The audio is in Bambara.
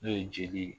N'o ye jeli ye